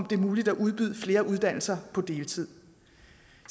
det er muligt at udbyde flere uddannelser på deltid